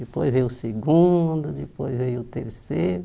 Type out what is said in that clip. Depois veio o segundo, depois veio o terceiro.